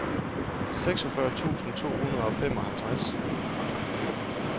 seksogfyrre tusind to hundrede og femoghalvtreds